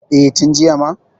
E, tin jiya ma.